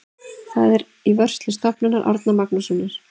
Það er í vörslu Stofnunar Árna Magnússonar.